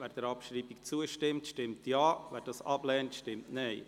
Wer der Abschreibung zustimmen will, stimmt Ja, wer diese ablehnt, stimmt Nein.